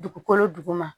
Dugukolo duguma